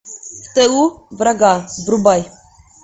в тылу врага врубай